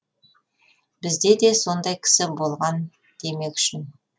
бізде де сондай кісі болған демек үшін